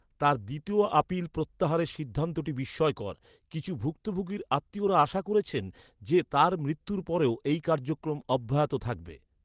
তার দ্বিতীয় আপিল প্রত্যাহারের সিদ্ধান্তটি বিস্ময়কর। কিছু ভুক্তভোগীর আত্মীয়রা আশা করছেন যে তার মৃত্যুর পরেও এই কার্যক্রম অব্যাহত থাকবে।